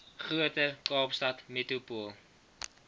groter kaapstad metropool